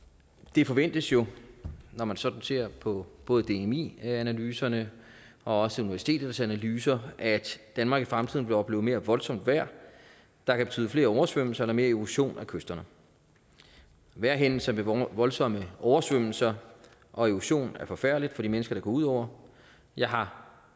det forventes jo når man sådan ser på både dmi analyserne og også universitetets analyser at danmark i fremtiden vil opleve mere voldsomt vejr der kan betyde flere oversvømmelser eller mere erosion af kysterne vejrhændelser med voldsomme oversvømmelser og erosion er forfærdeligt for de mennesker det går ud over jeg har